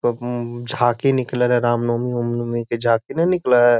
उम म झांकी निकलल है रामनवमी उमनवमी के झांकी न निकलए हे |